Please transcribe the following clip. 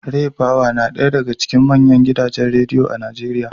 Raypower na daya daga cikin manyan gidajen Rediyo a Najeriya